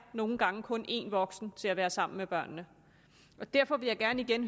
nogle gange kun en voksen til at være sammen med børnene derfor vil jeg gerne igen